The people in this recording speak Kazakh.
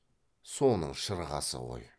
соның шырғасы ғой